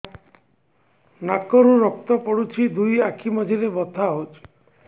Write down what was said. ନାକରୁ ରକ୍ତ ପଡୁଛି ଦୁଇ ଆଖି ମଝିରେ ବଥା ହଉଚି